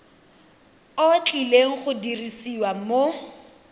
o tlileng go dirisiwa mo